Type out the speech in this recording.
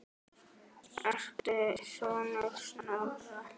Ertu sonur Snorra?